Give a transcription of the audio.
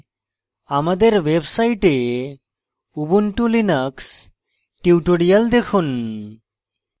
আমাদের website ubuntu linux tutorials দেখুন